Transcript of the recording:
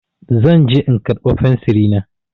Zan je in karɓa fensiri na.